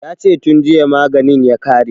Ya ce tun jiya maganin ya ƙare